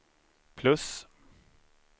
plus